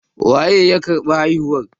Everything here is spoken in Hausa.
Waye ya karɓi haihuwar?